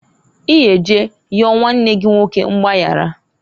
I ga eje yọọ nwanne gi nwoke mgbayaraǃ